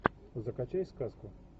закачай сказку